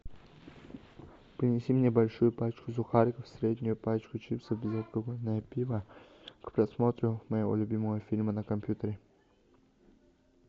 принеси мне большую пачку сухариков среднюю пачку чипсов безалкогольное пиво к просмотру моего любимого фильма на компьютере